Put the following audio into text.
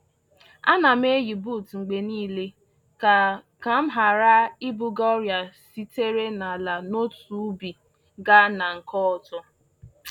A na m-eyi buut mgbe niile ka ka m ghara ibuga ọrịa sitere n’ala n’otu ubi gaa na nke ọzọ